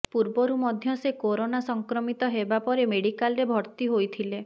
ପୂର୍ବରୁ ମଧ୍ୟ ସେ କରୋନା ସଂକ୍ରମିତ ହେବା ପରେ ମେଡିକାଲରେ ଭର୍ତ୍ତି ହୋଇଥିଲେ